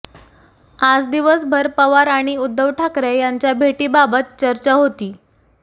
आज दिवसभर पवार आणि उद्धव ठाकरे यांच्या भेटीबाबत चर्चा होती